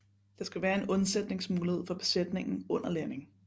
Der skal være en undsætningsmulighed for besætningen under landing